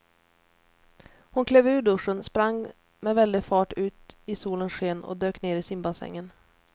Hon klev ur duschen, sprang med väldig fart ut i solens sken och dök ner i simbassängen.